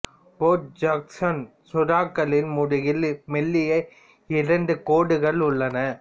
board Jackson சுறாக்களின் முதுகில் மெல்லிய இருண்ட கோடுகள் உள்ளன